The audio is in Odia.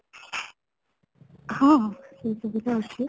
ହଁ, ସେ ସୁବିଧା ଅଛି